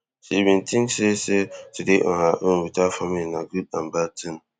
she bin tink say say tu dey on her own without family na good and bad thing